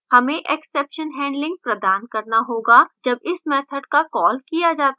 हमें exception handling प्रदान करना होगा जब इस मैथड का code किया जाता है